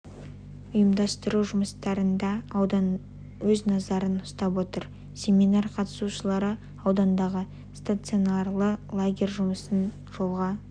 ұйымдастыру жұмыстарын да аудан өз назарына ұстап отыр семинар қатысушылары аудандағы стационарлы лагердің жұмысын жолға